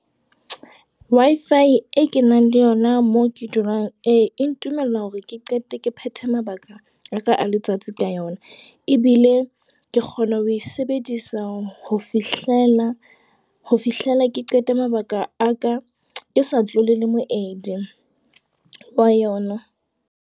Wi-Fi e kenang le yona moo ke dulang, ee e ntumella hore ke qete ke phethe mabaka a letsatsi ka yona. Ebile ke kgona ho e sebedisa ho fihlela ke qete mabaka a ka, ke sa tlole le moemedi wa yona.